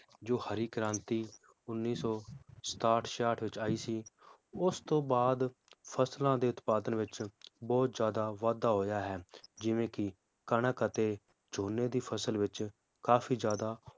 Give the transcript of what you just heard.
ਜੋ ਹਰਿ ਕ੍ਰਾਂਤੀ ਉੱਨੀ ਸੌ ਸਤਾਹਠ ਛਿਆਹਠ ਵਿਚ ਆਈ ਸੀ, ਉਸ ਤੋਂ ਬਾਅਦ ਫਸਲਾਂ ਦੇ ਉਤਪਾਦਨ ਵਿਚ ਬਹੁਤ ਜ਼ਿਆਦਾ ਵਾਧਾ ਹੋਇਆ ਹੈ ਜਿਵੇ ਕੀ ਕਣਕ ਅਤੇ ਝੋਨੇ ਦੀ ਫਸਲ ਵਿਚ ਕਾਫੀ ਜ਼ਿਆਦਾ